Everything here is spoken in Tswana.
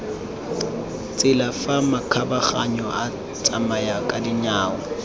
tsela fa makgabaganyong a batsamayakadinao